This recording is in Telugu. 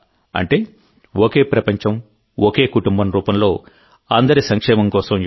అంటే ఒకే ప్రపంచంఒకే కుటుంబం రూపంలో అందరి సంక్షేమం కోసం యోగా